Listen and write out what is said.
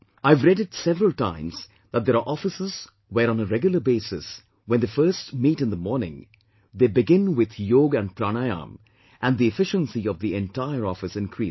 I have read it several times that there are offices where on a regular basis, when they first meet in the morning, they begin with Yog and Pranayam and the efficiency of the entire office increases